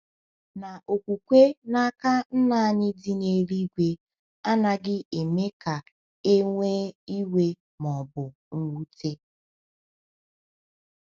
Na okwukwe n’aka Nna anyị dị n’eluigwe anaghị eme ka e nwee iwe ma ọ bụ mwute.